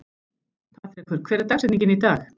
Patrekur, hver er dagsetningin í dag?